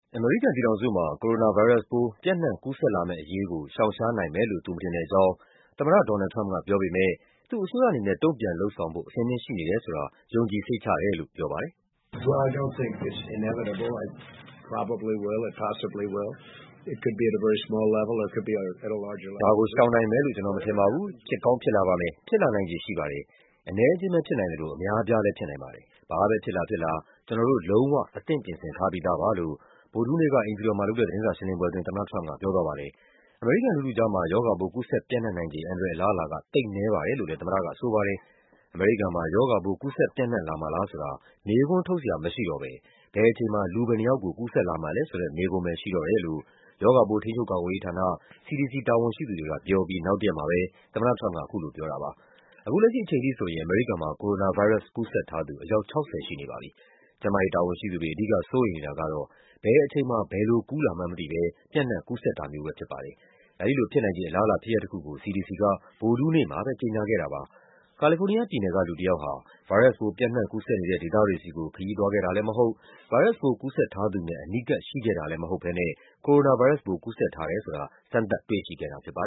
အမေရိကန်ပြည်ထောင်စုမှာ ကိုရိုနာဗိုင်းရပ်စ် ပျံ့နှံ့ကူးစက်လာမယ့်အရေးကို ရှောင်နိုင်မှာမဟုတ်ဘူးလို့ သူမထင်တဲ့အကြောင်း သမ္မတ ဒေါ်နယ်ဒ်လ် ထရမ့်ပ်ကပြောပေမဲ့ သူ့အစိုးရအနေနဲ့ တုံ့ပြန်လုပ်ဆောင်ဖို့ အဆင်သင့်ရှိနေတယ်ဆိုတာ ယုံကြည်စိတ်ချတယ်လို့ ပြောပါတယ်။ Covid-19 ကမ္ဘာမှာပျံ့နှံ့မှု တရုတ်နဲ့ ဆက်စပ်နေဆိုတဲ့ အကြောင်းကိုလည်း ဖတ်ရှုနိုင်ပါပြီ။ “မလွဲမသွေဖြစ်လာလိမ့်မယ်လို့ ကျနော်မထင်ပါဘူး။ ဖြစ်ကောင်းဖြစ်လာပါမယ်၊ ဖြစ်ချင်လည်း ဖြစ်လာပါမယ်။ အနည်းအကျဉ်းပဲ ဖြစ်နိုင်သလို အများအပြားလည်း ဖြစ်နိုင်ပါတယ်။ ဘာပဲဖြစ်လာဖြစ်လာ ကျနော်တို့ လုံးဝ အသင့် ပြင်ဆင်ထားပြီးသားပါ။” လို့ ဗုဒ္ဓဟူးနေ့က အိမ်ဖြူတော်မှာလုပ်တဲ့ သတင်းစာရှင်းလင်းပွဲအတွင်း သမ္မတထရမ့်ပ်က ပြောသွားပါတယ်။ အမေရိကန်လူထုကြားမှာ ရောဂါပိုး ကူးစက်ပျံ့နံှ့နိုင်ခြေ အန္တရာယ် အလားအလာက သိပ်နည်းပါတယ်လို့လည်း ဆိုပါတယ်။ အမေရိကန်မှာ ရောဂါပိုး ကူးစက်ပျံ့နှံ့လာမှာလားဆိုတာ မေးခွန်းထုတ်စရာ မရှိတော့ဘဲ ဘယ်အချိန်မှာ လူဘယ်နှယောက်ကို ကူးစက်လာမှာလည်းဆိုတဲ့ မေးခွန်းပဲ ရှိတော့တယ်လို့ ရောဂါပိုးထိန်းချုုပ်ကာကွယ်ရေးဌာန CDC တာဝန်ရှိသူတွေကပြော အပြီး နောက်တရက်မှာ သမ္မတထရမ့်ပ်က အခုလိုပြောတာပါ။ အခုလက်ရှိအချိန်ထိဆိုရင် အမေရိကန်မှာ ကိုရိုနာဗိုင်းရပ်စ် ကူးစက်ထားသူ အယောက် ၆၀ ရှိနေပါပြီ။ ကျန်းမာရေးတာဝန်ရှိသူတွေ အဓိကစိုးရိမ်နေတာကတော့ ဘယ်အချိန်မှာ ဘယ်လို ကူးလာမှန်းမသိဘဲ ပျံ့နှံ့ကူးစက်တာမျိုးပဲ ဖြစ်ပါတယ်။ အဲဒီလိုဖြစ်နိုင်ခြေအလားအလာ ဖြစ်ရပ်တခုကို CDC က ဗုဒ္ဓဟူးနေ့မှာပဲ ကြေညာခဲ့တာပါ။ ကာလီဖိုးနီးယားပြည်နယ်က လူတယောက်ဟာ ဗိုင်းရပ်စ်ပိုး ပျံ့နှံ့ကူးစက်နေတဲ့ ဒေသတွေဆီကို ခရီးသွားခဲ့တာလည်းမဟုတ် ဗိုင်းရပ်စ်ပိုး ကူးစက်ထားသူနဲ့ အနီးကပ်ရှိခဲ့တာလည်း မဟုတ်ဘဲနဲ့ ကိုရိုနာဗိုင်းရပ်စ်ပိုး ကူးစက်ထားတယ်ဆိုတာ စမ်းသပ်တွေ့ရှိခဲ့တာ ဖြစ်ပါ